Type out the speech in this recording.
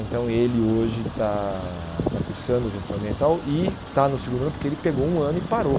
Então ele hoje está está cursando gestão ambiental e está no segundo ano porque ele pegou um ano e parou.